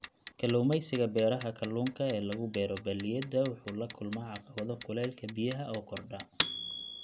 Kalluumaysiga beeraha kalluunka ee lagu beero balliyada wuxuu la kulmaa caqabado kuleylka biyaha oo kordha.